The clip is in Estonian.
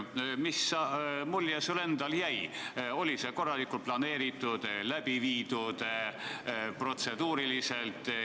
Mis mulje sulle endale jäi: oli see protseduuriliselt korralikult planeeritud ja läbi viidud?